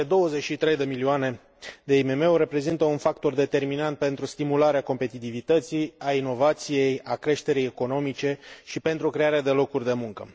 Cele 23 de milioane de IMM uri reprezintă un factor determinant pentru stimularea competitivității, a inovației, a creșterii economice și pentru crearea de locuri de muncă.